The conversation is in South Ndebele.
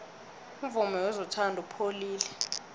umvumo wezothando upholile